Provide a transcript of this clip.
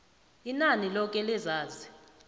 inani loke lezazi